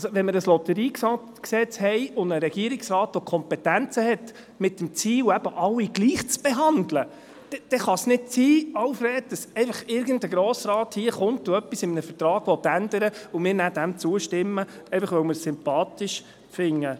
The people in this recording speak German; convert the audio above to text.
Wenn wir ein LotG haben und einen Regierungsrat, der Kompetenzen hat, mit dem Ziel, eben alle gleich zu behandeln, dann kann es nicht sein, Alfred Bärtschi, dass einfach irgendein Grossrat kommt, etwas in einem Vertrag ändern will und wir dem zustimmen, nur weil wir es sympathisch finden.